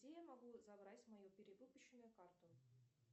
где я могу забрать мою перевыпущенную карту